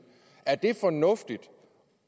er det fornuftigt